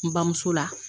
N bamuso la